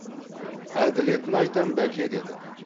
әділетін айтам бәке деді